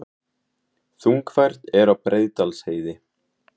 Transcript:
Þungfært er á Breiðdalsheiði